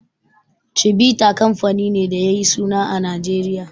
Chivita kamfani ne da yayi suna a Nijeriya.